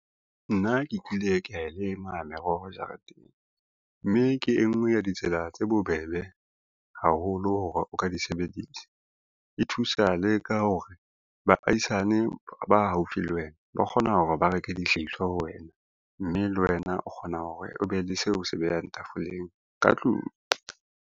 Nna ke kile ke a lema meroho jareteng, mme ke e ngwe ya ditsela tse bobebe haholo hore o ka di sebedisa. E thusa le ka hore baahisane ba haufi le wena ba kgona hore ba reke dihlahiswa ho wena, mme le wena o kgona hore o be le seo o se behang tafoleng ka tlung.